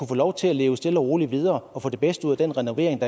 få lov til at leve stille og roligt videre og få det bedste ud af den renovering